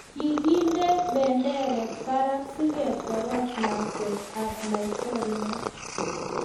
Kikinde benderet barak siketoroch lakwet ab laitoriat